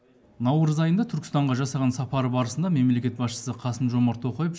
наурыз айындағы түркістанға жасаған сапары барысында мемлекет басшысы қасым жомарт тоқаев